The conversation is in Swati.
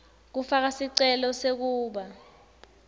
kufaka sicelo sekuba